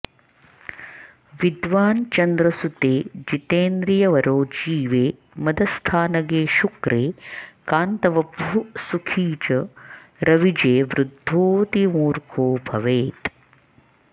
विद्वान् चन्द्रसुते जितेन्द्रियवरो जीवे मदस्थानगे शुक्रे कान्तवपुः सुखी च रविजे वृद्धोऽतिमूर्खो भवेत्